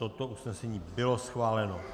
Toto usnesení bylo schváleno.